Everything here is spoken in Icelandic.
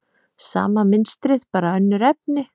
Sama mynstrið, bara önnur efni.